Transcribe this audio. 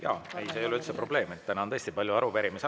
Jaa, see ei ole üldse probleem, täna on tõesti palju arupärimisi.